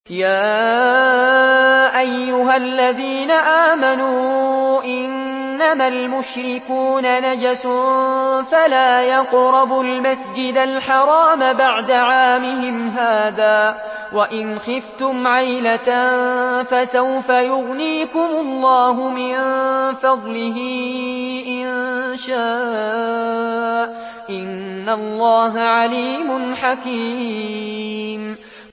يَا أَيُّهَا الَّذِينَ آمَنُوا إِنَّمَا الْمُشْرِكُونَ نَجَسٌ فَلَا يَقْرَبُوا الْمَسْجِدَ الْحَرَامَ بَعْدَ عَامِهِمْ هَٰذَا ۚ وَإِنْ خِفْتُمْ عَيْلَةً فَسَوْفَ يُغْنِيكُمُ اللَّهُ مِن فَضْلِهِ إِن شَاءَ ۚ إِنَّ اللَّهَ عَلِيمٌ حَكِيمٌ